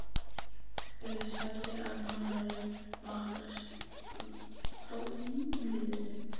Sagði að hann væri máttarstólpinn í liðinu.